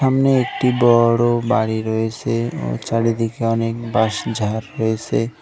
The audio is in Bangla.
সামনে একটি বড় বাড়ি রয়েছে ও চারদিকে অনেক বাঁশঝাড় রয়েছে।